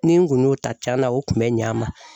Ni n kun y'o ta, tiɲɛna o kun bɛ ɲ'a ma.